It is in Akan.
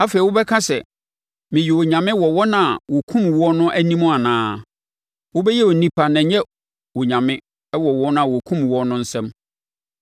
Afei wobɛka sɛ, “Meyɛ onyame,” wɔ wɔn a wɔkumm woɔ no anim anaa? Wobɛyɛ onipa na ɛnyɛ onyame wɔ wɔn a wɔkumm woɔ no nsam.